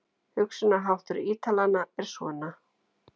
Hugsunarháttur Ítalanna er svona.